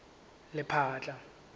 lephatla